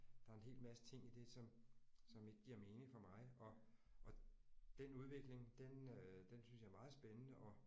Der er en hel masse ting i det som som ikke giver mening for mig og og den udvikling den øh den synes jeg er meget spændende og